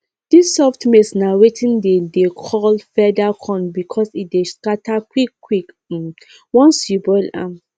dis soft maize na wetin dem dey call feather corn because e dey scatter quickquick um once you boil am